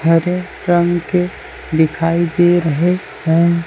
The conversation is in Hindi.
हरे रंग के दिखाई दे रहे है।